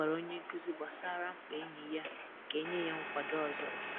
Ọ gwara onye nkuzi gbasara mkpa enyi ya ka e nye ya nkwado ọzọ